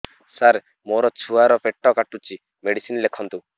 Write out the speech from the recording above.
ସାର ମୋର ଛୁଆ ର ପେଟ କାଟୁଚି ମେଡିସିନ ଲେଖନ୍ତୁ